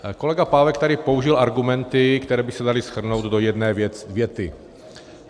Kolega Pávek tady použil argumenty, které by se daly shrnout do jedné věty.